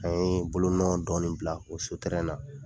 An ye bolonɔ dɔɔnin bila o so na.